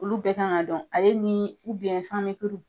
Olu bɛɛ kan ka dɔn , ale ni san kuru.